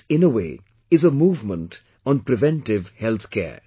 This, in a way, is a movement on preventive health care